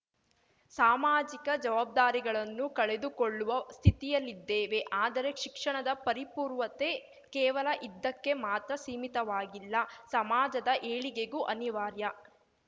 ಸಾಮಾಜಿಕ ಜವಾಬ್ದಾರಿಗಳನ್ನು ಕಳೆದುಕೊಳ್ಳುವ ಸ್ಥಿತಿಯಲ್ಲಿದ್ದೇವೆ ಆದರೆ ಶಿಕ್ಷಣದ ಪರಿಪೂರ್ವತೆ ಕೇವಲ ಇದ್ದಕ್ಕೆ ಮಾತ್ರ ಸೀಮಿತವಾಗಿಲ್ಲ ಸಮಾಜದ ಏಳಿಗೆಗೂ ಅನಿವಾರ್ಯ